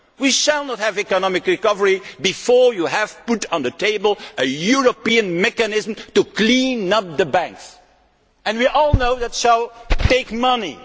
We will not have economic recovery before you have put on the table a European mechanism to clean up the banks. We all know that will take money.